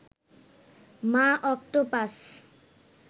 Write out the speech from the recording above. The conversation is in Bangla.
মা অক্টোপাস